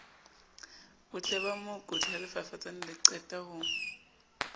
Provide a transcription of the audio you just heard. botleba mookodi ha lefafatsanele qetaho